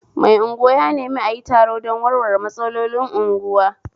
Mai unguwa ya nemi ayi taro don warware matsalolin unguwa